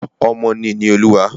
Ọmọ ni ìní Olúwa.